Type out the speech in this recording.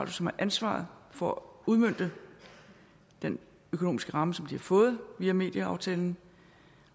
som har ansvaret for at udmønte den økonomiske ramme som de har fået via medieaftalen